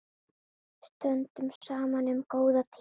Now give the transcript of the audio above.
Stöndum saman um góða tíma.